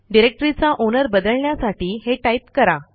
डिरेक्टरीचा ओनर बदलण्यासाठी हे टाईप करा